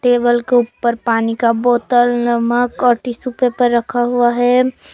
Table के ऊपर पानी का बोतल नमक और टिशू पेपर रखा हुआ है।